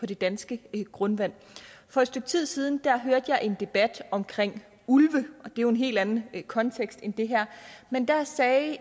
det danske grundvand for et stykke tid siden hørte jeg en debat om ulve og jo en helt anden kontekst end den her men der sagde